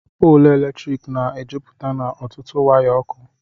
Pọọlụ Latrịkị Na - Ejụpụte N' Ọtụtụ Waya Ọkụ